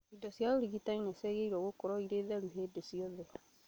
Indo cia ũrigitani ciagĩrĩirwo gũkorwo irĩ theru hĩndi ciothe